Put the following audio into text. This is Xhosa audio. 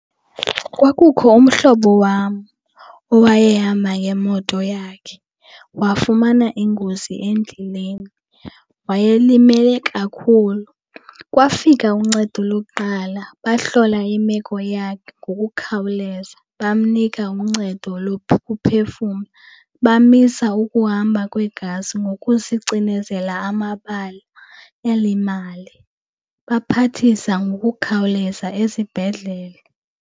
Kwakukho umhlobo wam owayehamba ngemoto yakhe wafumana ingozi endleleni, wayelimele kakhulu. Kwafika uncedo lokuqala bahlola imeko yakhe ngokukhawuleza. Bamnika uncedo lokuphefumla, bamisa ukuhamba kwegazi ngokusicinezela amabali elimali, baphathisa ngokukhawuleza esibhedlele.